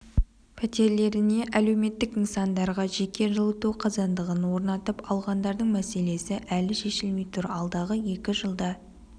пәтерлеріне әлеуметтік нысандарға жеке жылыту қазандығын орнатып алғандардың мәселесі әлі шешілмей тұр алдағы екі жылда